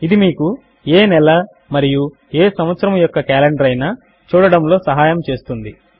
ఇది మీకు ఏ నెల మరియు ఏ సంవత్సరము యొక్క కాలెండర్ అయినా చూడడములో సహాయము చేస్తుంది